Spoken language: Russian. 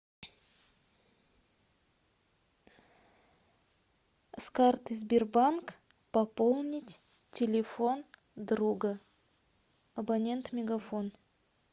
с карты сбербанк пополнить телефон друга абонент мегафон